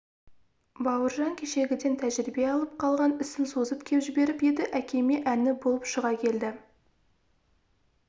бауыржан кешегіден тәжірибе алып қалған ісін созып кеп жіберіп еді әкеме әні болып шыға келді